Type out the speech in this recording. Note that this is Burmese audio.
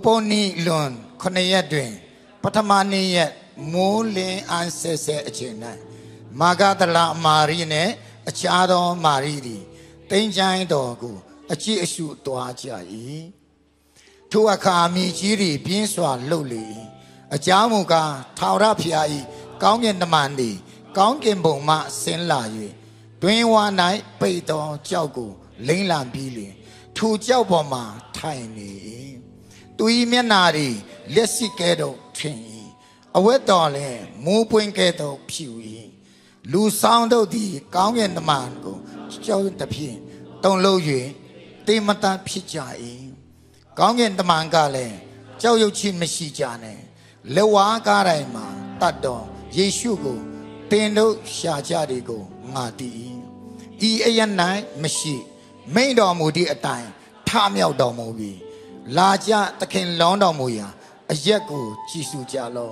ပုသ်နေ့လွန် ခုနစ်ရက်တွင် ပဌမနေ့ရက်မိုဃ်းလင်းအံ့ဆဲဆဲအချိန်၌၊ မာဂဒလမာရိနှင့် အခြားသော မာရိသည် သင်္ချိုင်းတော်ကို အကြည့်အရှုသွားကြ၏။ ထိုအခါ မြေကြီးသည် ပြင်းစွာလှုပ်လေ၏။ အကြောင်းမူကား၊ ထာဝရဘုရား၏ ကောင်းကင်တမန် သည် ကောင်းကင်ဘုံမှ ဆင်းလာ၍၊ တွင်းဝ၌ပိတ်သောကျောက်ကို လှိမ့်လှန်ပြီးလျှင်၊ ထိုကျောက်ပေါ်မှာ ထိုင်နေ၏။ သူ၏မျက်နှာသည် လျှပ်စစ်ကဲ့သို့ထင်၏။ အဝတ်သည်လည်း မိုဃ်းပွင့်ကဲ့သို့ ဖြူ၏။ လူစောင့်တို့သည် ကောင်းကင်တမန်ကို ကြောက်ရွံ့သဖြင့် တုန်လှုပ်၍ သေမတတ်ဖြစ်ကြ၏။ ကောင်းကင်တမန်ကလည်း၊ ကြောက်ရွံ့ခြင်းမရှိကြနှင့်။ လက်ဝါးကပ်တိုင်မှာသတ်သော ယေရှုကို သင် တို့ရှာကြသည်ကို ငါသိ၏။ ဤအရပ်၌မရှိ။ မိန့်တော်မူသည်အတိုင်း ထမြောက်တော်မူပြီ။ လာကြ၊ သခင်လျောင်းတော်မူရာ အ ရပ်ကို ကြည့်ကြလော